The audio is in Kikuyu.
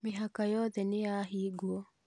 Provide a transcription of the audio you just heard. Mĩhaka yothe nĩyahigwo